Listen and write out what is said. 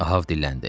Ahav dilləndi.